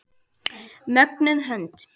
Mögnuð hönd.